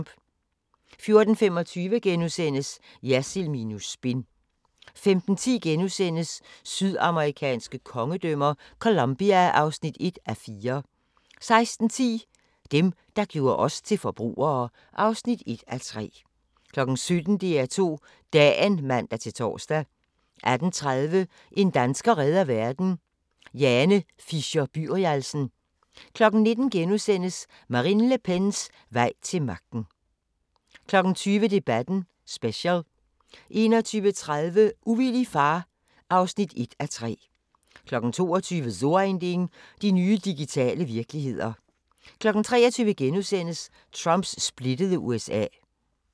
14:25: Jersild minus spin * 15:10: Sydamerikanske kongedømmer - Colombia (1:4)* 16:10: Dem, der gjorde os til forbrugere (1:3) 17:00: DR2 Dagen (man-tor) 18:30: En dansker redder verden – Jane Fisher-Byrialsen 19:00: Marine Le Pens vej til magten * 20:00: Debatten Special 21:30: Ufrivillig far (1:3) 22:00: So ein Ding: De nye digitale virkeligheder 23:00: Trumps splittede USA (3:4)*